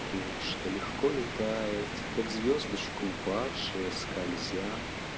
что легко летает как звёздочка упавшая скользя